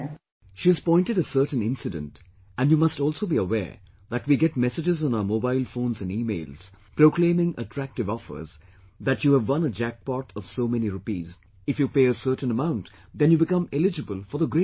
She has pointed a certain incident, and you must also be aware that we get messages on our mobile phones and emails, proclaiming attractive offers that you have won a jackpot of so many rupees; if you pay a certain amount then you become eligible for the greater amount